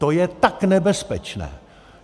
To je tak nebezpečné!